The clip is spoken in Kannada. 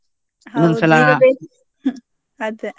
ಅದೇ.